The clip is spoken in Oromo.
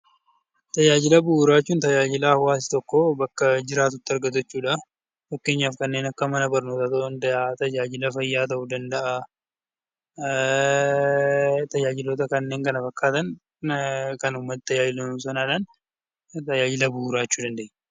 Tajaajila bu'uuraa jechuun tajaajila hawaasa tokko bakka jiraatutti argatu jechuudha. Fakkeenyaaf kanneen akka mana barnootaa ta'uu danda'a tajaajila fayyaa ta'uu danda'a. Tajaajiloota kanneen kana fakkaatan kan uummata tajaajilu sanadhan tajaajila bu'uuraa jechuu dandenya.